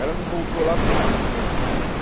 Ela me voltou lá e falou, ah não, a gente terminou mesmo.